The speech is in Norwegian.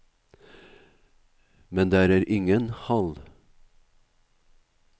Men der er det ingen hall.